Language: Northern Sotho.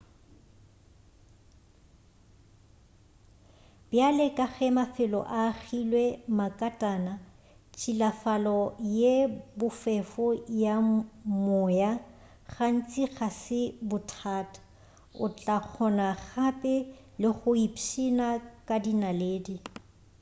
bjale ka ge mafelo a agilwe makatana tšhilafalo ye bofefo ya moya gantši ga se bothata o tla kgona gape le go ipšhina ka dinaledi